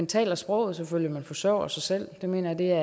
tale sproget selvfølgelig og forsørge sig selv det mener jeg